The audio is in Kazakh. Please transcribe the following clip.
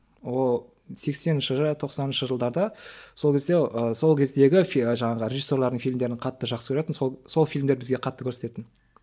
ол сексенінші тоқсаныншы жылдарда сол кезде ы сол кездегі жаңағы режиссерлардың фильмдерін қатты жақсы көретін сол сол фильмдерді бізге қатты көрсететін